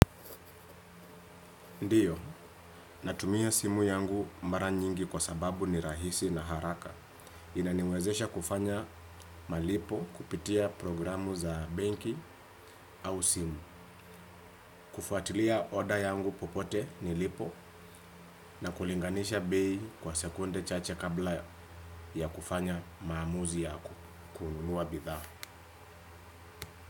Ndiyo, natumia simu yangu mara nyingi kwa sababu ni rahisi na haraka. Inaniwezesha kufanya malipo kupitia programu za benki au simu. Kufuatilia oda yangu popote nilipo na kulinganisha bei kwa sekunde chache kabla ya kufanya maamuzi ya kununua bidhaa.